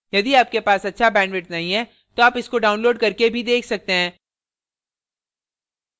यदि आपके पास अच्छा bandwidth नहीं है तो आप इसको download करके भी देख सकते हैं